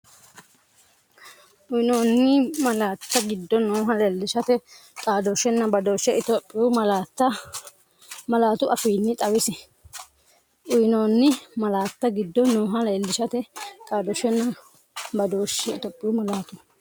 Uyinoonni malaatta giddo nooha leellishate xaadooshshenna dooshshe Itophiyu malaatu afiinni xawisse Uyinoonni malaatta giddo nooha leellishate xaadooshshenna dooshshe Itophiyu malaatu.